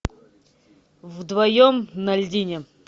вдвоем на льдине